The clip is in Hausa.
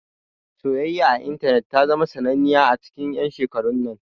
Soyayya a intanet ta zama sananniya a cikin 'yan shekarun nan.